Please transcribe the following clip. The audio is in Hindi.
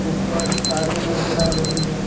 ऊपर तारें नजर आ रही है।